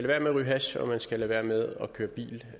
være med at ryge hash og man skal lade være med at køre bil